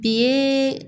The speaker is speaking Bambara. Bi